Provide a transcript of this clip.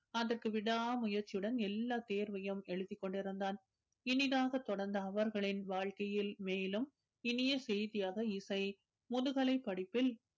அதற்கு விடா முயற்சியுடன் எல்லா தேர்வையும் எழுதிக்கொண்டிருந்தான் இனிதாக தொடர்ந்த அவர்களின் வாழ்க்கையில் மேலும் இனிய செய்தியாக இசை முதுகலைப் படிப்பில்